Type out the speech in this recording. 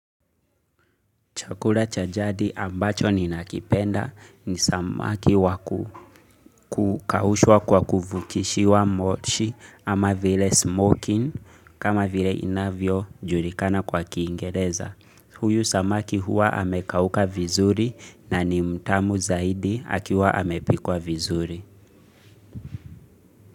Chakula cha jadi ambacho ninakipenda ni samaki wa kukaushwa kwa kuvukishiwa moshi ama vile smoking kama vile inavyojulikana kwa kiingereza. Huyu samaki huwa amekauka vizuri na ni mtamu zaidi akiwa amepikwa vizuri.